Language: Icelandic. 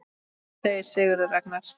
Hvað segir Sigurður Ragnar?